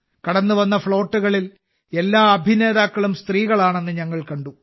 കടന്നുവന്ന ഫ്ളോട്ടുകളിൽ എല്ലാ അഭിനേതാക്കളും സ്ത്രീകളാണെന്ന് ഞങ്ങൾ കണ്ടു